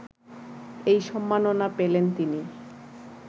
এই সম্মাননা পেলেন তিনি